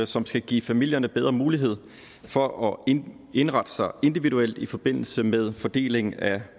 som skal give familierne bedre mulighed for at indrette sig individuelt i forbindelse med fordelingen af